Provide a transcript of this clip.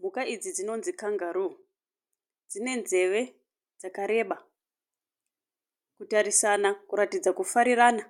Mhuka idzi dzinonzi kangaroo, dzine nzeve dzakareba. Kutarisana kuratidza kufarirana.